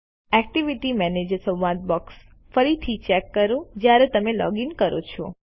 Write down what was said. activity manager સંવાદ box ફરીથી check કરો જયારે તમે લોગીન કરો છો